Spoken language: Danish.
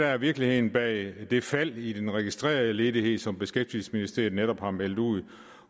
er virkeligheden bag det fald i den registrerede ledighed som beskæftigelsesministeriet netop har meldt ud